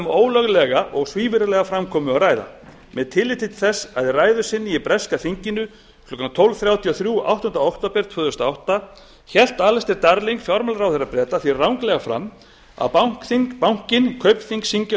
um ólöglega og svívirðilega framkomu að ræða með tilliti til þess að í ræðu sinni í breska þinginu klukkan tólf þrjátíu og þrjú áttunda október tvö þúsund og átta hélt alistair darling fjármálaráðherra breta því ranglega fram að bankinn kaupthing